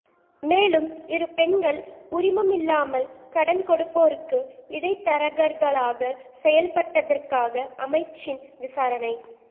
மேலும் இரு பெண்கள் உரிமமில்லாமல் கடன்கொடுப்போருக்கு இடைத்தரகர்களாகச் செயல்பட்டதற்காக அமைச்சின் விசாரணை